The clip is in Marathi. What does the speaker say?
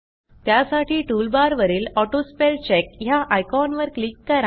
त्यासाठी टूलबारवरील ऑटोस्पेलचेक ह्या आयकॉनवर क्लिक करा